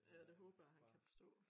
Ja det håber jeg han kan forstå